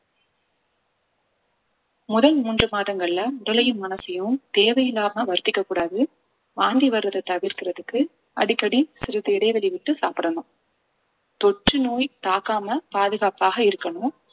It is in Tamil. முதல் மூன்று மாதங்கள்ல உடலையும் மனசையும் தேவையில்லாம வருத்திக்க கூடாது வாந்தி வரத தவிர்க்கிறதுக்கு அடிக்கடி சிறிது இடைவெளி விட்டு சாப்பிடணும் தொற்றுநோய் தாக்காம பாதுகாப்பாக இருக்கணும்